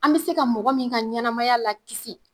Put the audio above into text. An be se ka mɔgɔ min ka ɲɛnɛmaya la kisi